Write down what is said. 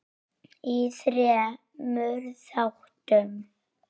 í þremur þáttum.